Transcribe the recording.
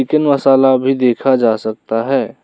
मसाला भी देखा जा सकता है।